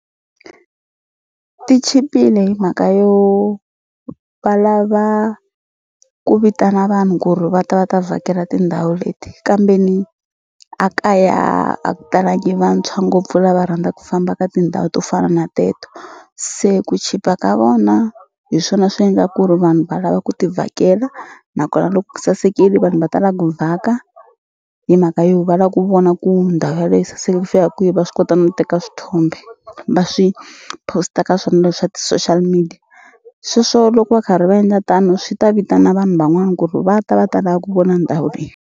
Ti chipile hi mhaka yo va lava ku vitana vanhu ku ri va ta va ta vhakela tindhawu leti kambeni a kaya a ku talangi vantshwa ngopfu lava rhandza ku famba ka tindhawu to fana na teto se ku chipa ka vona hi swona swi endla ku ri vanhu va lava ku ti vhakela nakona loko ku sasekile vanhu va ta la ku vhaka hi mhaka yo va la ku vona ku ndhawu yaleyo yi saseka ku fika kwihi va swi kota no teka swithombe va swi post-a ka swona leswa ti-social media sweswo loko va karhi va endla tano swi ta vitana vanhu van'wana ku ri va ta va ta la ku vona ndhawu leyi.